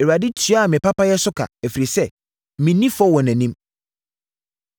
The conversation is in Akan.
Awurade tuaa me papayɛ so ka, ɛfiri sɛ menni fɔ wɔ nʼanim.